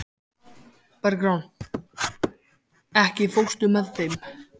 Bergrán, ekki fórstu með þeim?